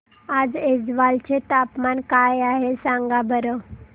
आज ऐझवाल चे तापमान काय आहे सांगा बरं